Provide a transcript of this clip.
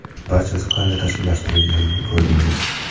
Barchasi qanday tashkillashtirilganini ko‘rdingiz.